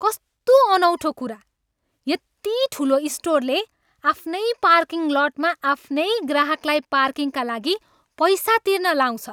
कस्तो अनौठो कुरा, यति ठुलो स्टोरले आफ्नै पार्किङ लटमा आफ्नै ग्राहकलाई पार्किङका लागि पैसा तिर्न लाउँछ!